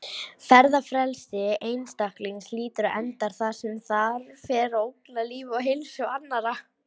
Ferðafrelsi einstaklings hlýtur að enda þar sem það fer að ógna lífi og heilsu annarra.